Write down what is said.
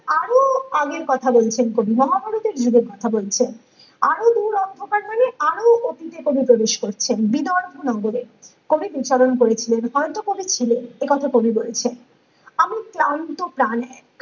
আরো আগের কথা বলেছেন কবি মহাভারতের যুগের কথা বলছেন আরো দূর অন্ধকার মানে আরো অতীতে কবি প্রবেশ করছেন বিদর ভুনগরে কবি বিচরণ করেছিলেন হয়তো কবি ছিলেন একথা কবি বলছেন আমি ক্লান্ত প্রাণে